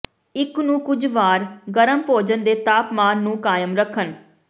ਇੱਕ ਨੂੰ ਕੁਝ ਵਾਰ ਗਰਮ ਭੋਜਨ ਦੇ ਤਾਪਮਾਨ ਨੂੰ ਕਾਇਮ ਰੱਖਣ